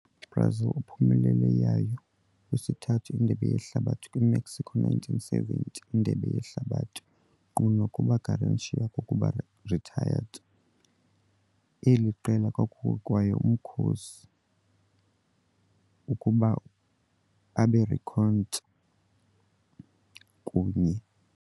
Brazil uphumelele yayo wesithathu Indebe Yehlabathi kwi-Mexico kwi - 1970 Indebe Yehlabathi. Nkqu nokuba Garrincha kokuba retired, eli qela kwakukho kwaye umkhosi ukuba abe reckoned kunye.